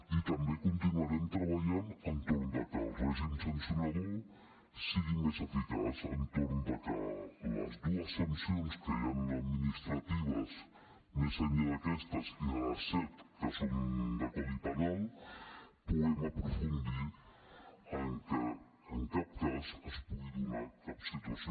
i també continuarem treballant entorn que el règim sancionador sigui més eficaç a l’entorn que les dues sancions que hi ha administratives més enllà d’aquestes i de les set que són de codi penal puguem aprofundir que en cap cas es pugui donar cap situació